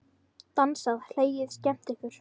Dansað, hlegið og skemmt ykkur.